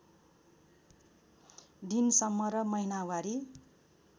दिनसम्म र महिनावारी